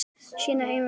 Sína eigin veislu.